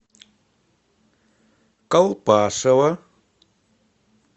колпашево